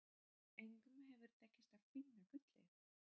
Engum hefur tekist að finna gullið.